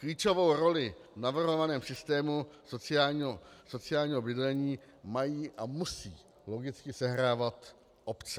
Klíčovou roli v navrhovaném systému sociálního bydlení mají a musí logicky sehrávat obce.